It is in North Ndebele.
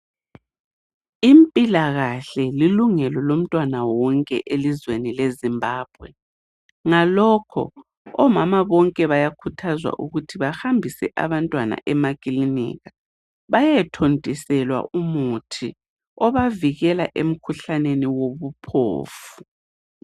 Impilakahle lilungelo lomntwana wonke elizweni leZimbabwe. Ngalokho omama bonke bayakhuthazwa ukuthi bahambise abantwana emakilinika bayethontiselwa umuthi obavikela emkhuhlaneni wobuphofu.